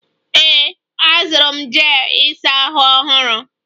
Ee, azụrụ m jel ịsa ahụ ọhụrụ.